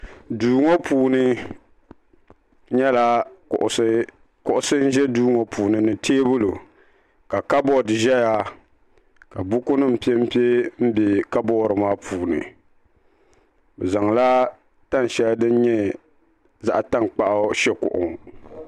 duu ŋɔ puuni nyɛla kuɣusi n ʒɛ duu ŋɔ puuni ni teebuli ka kabood ʒɛya ka buku nim piɛnpiɛ n bɛ kabood ŋɔ puuni bi zaŋla tani shɛli din nyɛ zaɣ tankpaɣu shɛ kuɣu ŋɔ